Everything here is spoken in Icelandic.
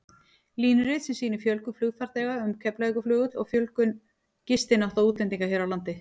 Línurit sem sýnir fjölgun flugfarþega um Keflavíkurflugvöll og fjölgun gistinátta útlendinga hér á landi.